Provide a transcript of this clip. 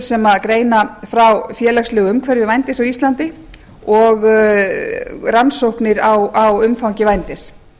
sem greina frá félagslegu umhverfi vændis á íslandi og rannsóknir á umfangi vændis